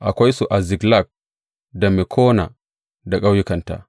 Akwai su a Ziklag, da Mekona da ƙauyukanta.